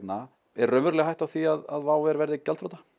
er raunveruleg hætta á því að WOW verði gjaldþrota